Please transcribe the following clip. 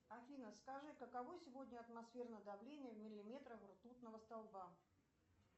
афина скажи каково сегодня атмосферное давление в миллиметрах ртутного столба